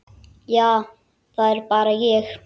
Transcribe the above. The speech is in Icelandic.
Já, það er bara ég.